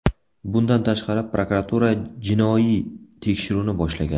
Bundan tashqari, prokuratura jinoiy tekshiruvni boshlagan.